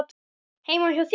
Heima hjá þér?